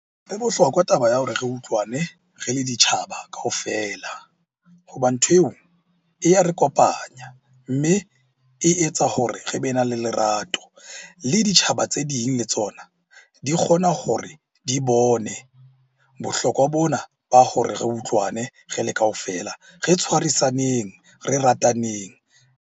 E bohlokwa taba ya hore re utlwane re le ditjhaba kaofela ho ba nthweo e ya re kopanya, mme e etsa hore re be na le lerato. Le ditjhaba tse ding le tsona di kgona hore di bone bohlokwa bona ba hore re utlwane re le kaofela. Re tshwarisaneneng, re rataneng.